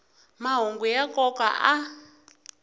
mahungu ya nkoka a